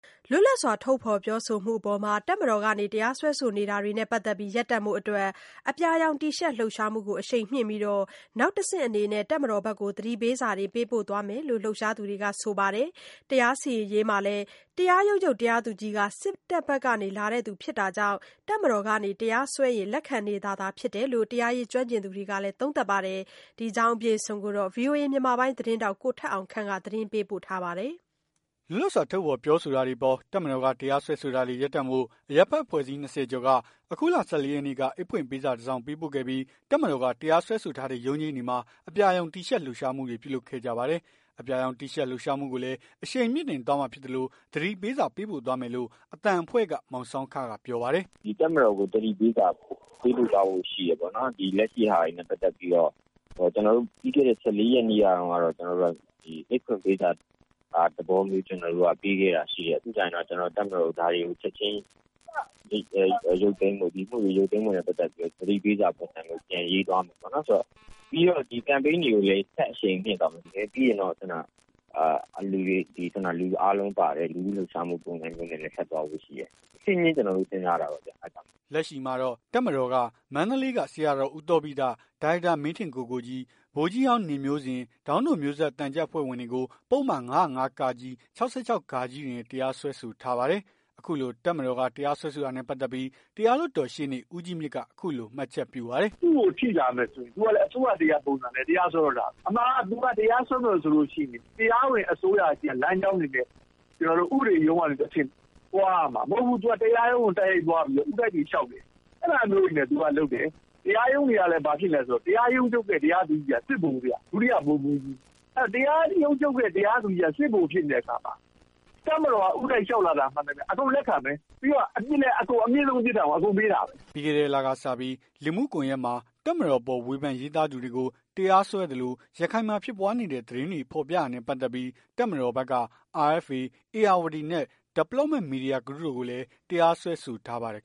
လွတ်လပ်စွာ ထုတ်ဖော်ပြောဆိုမှုအပေါ် တပ်မတော်က တရားစွဲဆိုတာတွေနဲ့ ပတ်သက်ပြီး ရပ်တန့်ဖို့အတွက် အပြာရောင်တီရှပ် လှုပ်ရှားမှုကိုအရှိန်မြှင့်ပြီး၊ နောက်တဆင့်အနေနဲ့ တပ်မတော်ဘက်ကို သတိပေးစာ ပေးပို့ သွားမယ်လို့ လှုပ်ရှားသူတွေက ဆိုပါတယ်။ တရားစီရင်ရေးမှာလည်း တရားရုံးချုပ်တရားသူကြီးက စစ်ဘက်ကနေလာသူဖြစ်တာကြောင့် တပ်မတော်က တရားစွဲရင် လက်ခံနေတာသာဖြစ်တယ်လို့ တရားရေးကျွမ်းကျင်သူတွေက သုံးသပ်ပါတယ်။ ဒီအကြောင်းကို ဗွီအိုအေ မြန်မာပိုင်းသတင်းထောက် ကိုထက်အောင်ခန့်က သတင်းပေးပို့ထားပါတယ်။ လွတ်လပ်စွာ ထုတ်ဖော် ပြောဆိုတာတွေအပေါ် တပ်မတော်က တရားစွဲဆိုတာတွေ ရပ်တန့်ဖို့ အရပ်ဖက် အဖွဲ့စည်း ၂၀ ကျော်က အခုလ ၁၄ ရက်နေ့က အိတ်ဖွင့်ပေးစာ တစောင်ပေးပို့ခဲ့ပြီး တပ်မတော်က တရားစွဲဆို ထားတဲ့ ရုံးချိန်းတွေမှာ အပြာရောင် တီရှပ် လှုပ်ရှားမှုတွေ ပြုလုပ်ခဲ့ကြပါတယ်။ အပြာရောင်တီရှပ်လှုပ်ရှားမှုကိုလည်း အရှိန်မြှင့်တင်သွားမှာဖြစ်သလို သတိပေးစာ ပေးပို့သွားမယ်လို့ အသံအဖွဲ့က မောင်ဆောင်းခက ပြောပါတယ်။ "တပ်မတော်ကို သတိပေးစာပေးပို့သွားဖို့ရှိတယ်။ လက်ရှိဟာတွေနဲ့ပတ်သက်ပြီးတော့ ပြီးခဲ့တဲ့ ၁၄ ရက်နေ့က အိတ်ဖွင့်ပေးစာသဘောမျိုး ပေးခဲ့တာမျိုးရှိတယ်။ ပြီးကျရင်တော့ တပ်မတော်ကို ဒါတွေကို ချက်ချင်း ရုပ်သိမ်း ပေးဖို့ ၊ ဒီအမှုတွေရုပ်သိမ်းပေးဖို့ ပတ်သက်ပြီးတော့ သတိပေးစာ ပုံစံမျိုး ပြန်ရေးသွားမယ်။ ပြီးတော့ ဒီကမ်ပိန်း တွေကိုလည်း ဆက်အရှိန်မြင့်သွားမယ်။ ပြီးရင်တော့ လူအားလုံးပါတဲ့ လူထု လှုပ်ရှားမှု ပုံစံမျိုးနဲ့ ထပ်သွားဖို့ ရှိတယ်။ တဆင့်ချင်း ကျွန်တော်တို့ စဉ်းစားတာပေါ့။" လက်ရှိမှာတော့ တပ်မတော်က မန္တလေးက ဆရာတော် ဦးသောဘိတ ၊ ဒါရိုက်တာ မင်းထင်ကိုကိုကြီး၊ ဗိုလ်ကြီး ဟောင်းနေမျိုးဇင် ၊ ဒေါင်းတို့ မျိုးဆက် သံချပ်အဖွဲ့ဝင်တွေကို ပုဒ်မ ၅၀၅ ၊ ၆၆ တွေနဲ့ တရားစွဲဆို ထားပါတယ်။ အခုလို တပ်မတော်က တရားစွဲဆိုတာနဲ့ ပတ်သက်ပြီး တရားလွှတ်တော်ရှေ့နေ ဦးကြီးမြင့်က အခုလို မှတ်ချက် ပြုပါတယ်။ "သူ့ကိုထိလာမယ်ဆိုရင် အစိုးရတရပ်ပုံစံနဲ့ သူကတရားစွဲတော့တာပဲ အမှန်က သူက တရားစွဲမယ်ဆိုရင် တရားဝင် အစိုးရဆီက လမ်းကြောင်းတွေနဲ့ ဥပဒေရုံးကနေတဆင့် သွားရမှာ။မဟုတ်ဘူး သူက တရားရုံးကို ဦးတိုက်တွေလျှောက်တယ်။ အဲ့ဒါမျိုးတွေနဲ့ သကလုပ်တယ်။ တရားရုံးတွေကဘာဖြစ်လည်းဆိုတော့ တရားရုံးချုပ်ရဲ့ တရားသူကြီးက စစ်ဗိုလ်ဗျ။ ဒုတိယဗိုလ်မှူးကြီး အဲ့တော့ တရားရုံးချုပ်ရဲ့ တရားသူကြီးက စစ်ဗိုလ်ဖြစ်နေတဲ့အခါမှာ တပ်မတော်က ဦးတိုက်လျှောက်လာတာ မှန်သမျှ အကုန်လက်ခံမယ် ပြီးတော့ အမြင့်ဆုံး ပြစ်ဒဏ်ကို အကုန်ပေးတာပဲ" ပြီးခဲ့တဲ့လစကပြီး လူမှုကွန်ယက်မှာ တပ်မတော်အပေါ် ဝေဖန်ရေးသားသူတွေကို တရားစွဲသလို ရခိုင်မှာဖြစ်ပွားနေတဲ့ သတင်းတွေ ဖော်ပြတာနဲ့ ပတ်သက်ပြီး တပ်မတော်ဘက်က RFA၊ ဧရာဝတီနဲ့ Development Media Group တို့ကိုလည်း တရားစွဲဆိုထားပါသေးတယ်